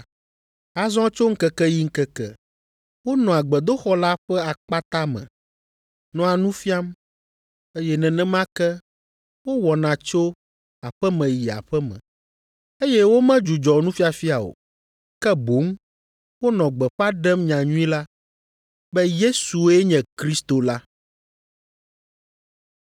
Azɔ tso ŋkeke yi ŋkeke, wonɔa gbedoxɔ la ƒe akpata me, nɔa nu fiam, eye nenema ke wowɔna tso aƒe me yi aƒe me, eye womedzudzɔ nufiafia o, ke boŋ wonɔ gbeƒã ɖem nyanyui la, be Yesue nye Kristo la.